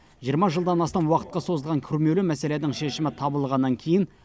жиырма жылдан астам уақытқа созылған күрмеулі мәселенің шешімі табылғаннан кейін